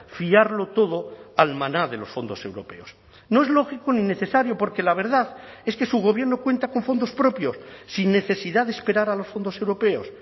fiarlo todo al maná de los fondos europeos no es lógico ni necesario porque la verdad es que su gobierno cuenta con fondos propios sin necesidad de esperar a los fondos europeos